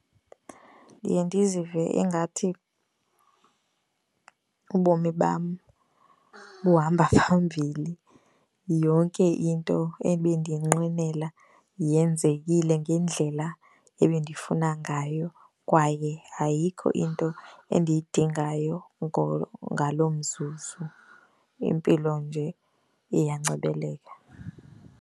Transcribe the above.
Ndiye ndizive ingathi ubomi bam buhamba phambili. Yonke into ebendiyinqwenela yenzekile ngendlela ebendifuna ngayo kwaye ayikho into endiyidingayo ngaloo mzuzu. Impilo nje iyancebeleka.